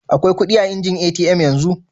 Akwai kudi a'injin ATM yanzu?